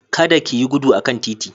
Kada ki yi gudu a kan titi.